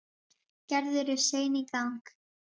Gerður er sein í gang.